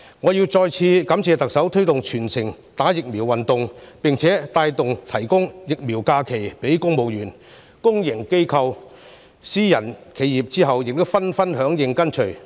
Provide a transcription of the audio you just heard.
我要再次感謝特首推動全城接種疫苗運動，並起帶頭作用，提供疫苗假期予公務員，公營機構、私人企業其後亦紛紛響應跟隨。